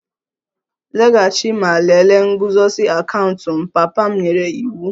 Laghachi ma lelee nguzozi akaụntụ m! Papa m nyere iwu